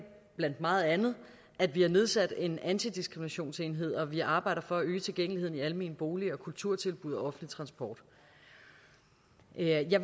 blandt meget andet at vi har nedsat en antidiskriminationsenhed og vi arbejder for at øge tilgængeligheden i almene boliger kulturtilbud og offentlig transport jeg